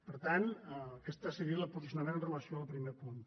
per tant aquest seria el posicionament amb relació al primer punt